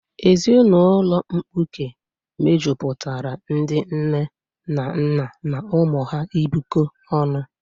Ezinụlọ mkpuke mejupụtara ndị nne na nna na ụmụ ha ibikọ ọnụ.